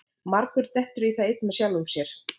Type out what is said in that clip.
margur dettur í það einn með sjálfum sér